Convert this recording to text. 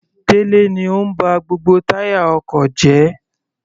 Delẹ ni ó ń ba gbogbo táyà ọkọ̀ jẹ́.